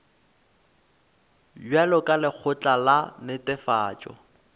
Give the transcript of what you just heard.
bjalo ka lekgotla la netefatšo